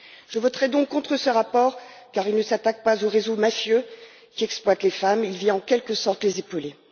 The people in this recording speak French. Je voterai donc contre ce rapport car il ne s'attaque pas aux réseaux mafieux qui exploitent les femmes, il vient en quelque sorte les épauler.